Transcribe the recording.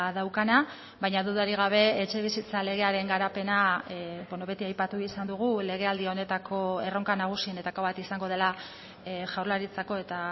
daukana baina dudarik gabe etxebizitza legearen garapena beti aipatu izan dugu legealdi honetako erronka nagusienetako bat izango dela jaurlaritzako eta